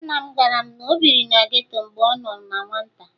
Nna m gwara m na o biri na geto mgbe ọ nọ na nwata